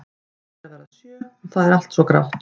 Klukkan er að verða sjö og það er allt svo grátt.